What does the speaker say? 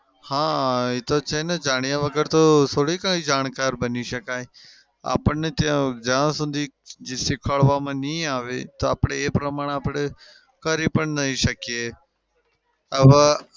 હા એતો છે ને જાણ્યા વગર તો થોડી કંઈ જાણકાર બની શકાય. આપણને જ્યાં સુધી શીખવાડવામાં નઈ આવે તો આપડે એ પ્રમાણે કરી પણ નઈ શકીએ. આવા